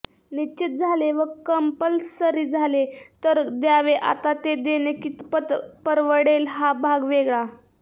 निश्चित झाले व कंपल्सरी झाले तर द्यावे आता ते देणे कितपत परवडेल हा भाग वेगळा